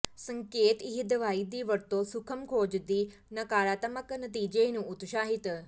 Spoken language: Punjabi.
ਸੰਕੇਤ ਇਹ ਦਵਾਈ ਦੀ ਵਰਤੋ ਸੂਖਮ ਖੋਜ ਦੀ ਨਕਾਰਾਤਮਕ ਨਤੀਜੇ ਨੂੰ ਉਤਸ਼ਾਹਿਤ